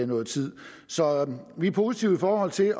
noget tid så vi er positive i forhold til at